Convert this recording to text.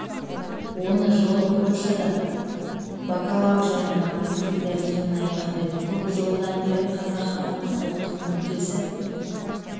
оны жылы польшада бакалавр және магистрлік дәрежемен аяқтайды көп жылдан бері қазақ халқының ұлттық мүддесі